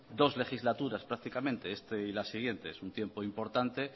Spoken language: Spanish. dos legislaturas prácticamente este y la siguiente un tiempo importante